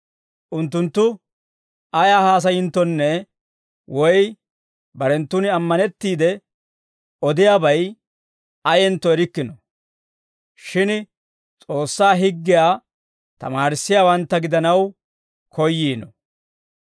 Unttunttu ayaa haasayinttonne woy barenttun ammanettiide odiyaabay ayentto erikkino; shin S'oossaa higgiyaa tamaarissiyaawantta gidanaw koyyiino.